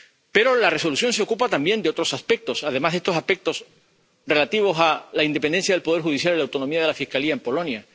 Pero la Resolución se ocupa también de otros aspectos, además de estos aspectos relativos a la independencia del poder judicial y la autonomía de la Fiscalía en Polonia.